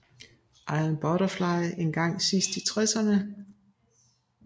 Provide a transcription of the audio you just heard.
Iron Butterfly engang sidst i tresserne